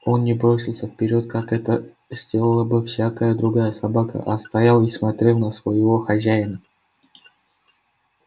он не бросился вперёд как это сделала бы всякая другая собака а стоял и смотрел на своего хозяина